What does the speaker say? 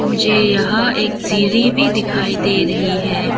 मुझे यहां एक सीढ़ी भी दिखाई दे रही है।